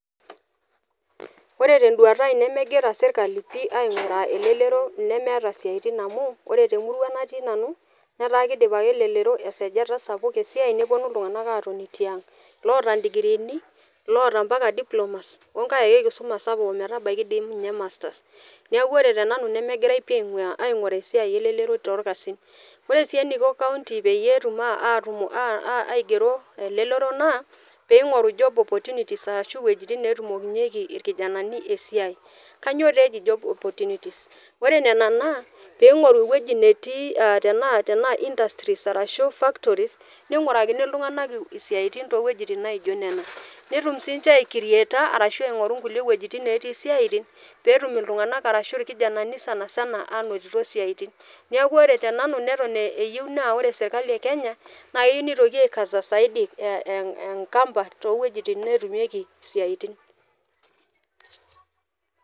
Ore te enduata aai nemegira sirkali pii aing'or elelero nemeeta siatini amuu ore te murua natii nanu ataa keidip ake elelero esachat sapuk esiai neponu ltunganak aatoni tiang' loota indigiriini, loota mpaka diplomas oo nkae dei kisuma sapuk metabaki dei ninye masters, naaku ore te nanu nemegirai pii aing'uraa esiai elelero te irkasin, ore sii eneiko county peyie etum aigero elelero naa peing'oru job opportunities ashu wejitin neetumokinyeki irkijanani esiaai, kainyioo dei eji job opportunities, ore nena naa peing'oru eweji netii tanaa industries[cs[ arashu factories neingurakini ltunganak siatinte wejitin naijonnena, netum sii aiockrieta arashu aing'oru kule weijtin natii siatin peetum ltunganak arashu irkijanani sanisna anotito siaitin, neaku ore te nanu neton eyeu naa ore sirkali e kenya naa keyeu neitoki aikasa saidi enkampa too wejitin neetumieki siaitin.